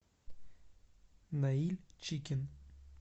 наиль чикин